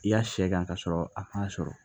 I y'a sɛ kan ka sɔrɔ a ma sɔrɔ